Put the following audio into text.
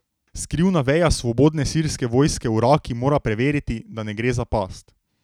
Skrivna veja Svobodne sirske vojske v Raki mora preveriti, da ne gre za past.